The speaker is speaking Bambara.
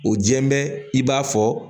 O jɛmɛbi